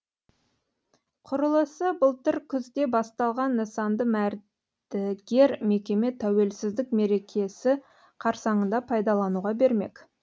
құрылысы былтыр күзде басталған нысанды мәрдігер мекеме тәуелсіздік мерекесі қарсаңында пайдалануға бермек